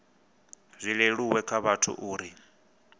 zwi leluwe kha vhathu uri